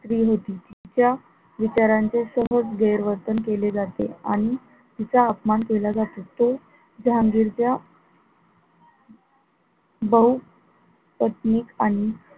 स्त्री होती त्या विचारांचे सहज गैरवर्तन दिले जाते आणि तिचा अपमान केला जातो तो जहागीर च्या बहू पत्नीक आणि,